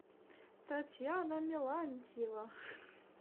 татьяна мелантьева